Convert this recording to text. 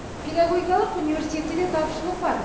педагогикалық университетте де тапшылық бар